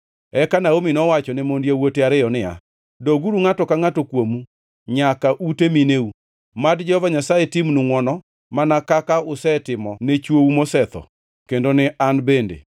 Eka Naomi nowachone mond yawuote ariyo niya, “Doguru, ngʼato ka ngʼato kuomu, nyaka ute mineu. Mad Jehova Nyasaye timnu ngʼwono, mana kaka usetimo ne chwou mosetho kendo ne an bende.